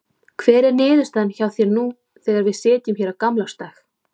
Hver er niðurstaðan hjá þér nú þegar við sitjum hér á gamlársdag?